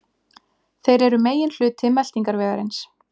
Þeir eru meginhluti meltingarvegarins.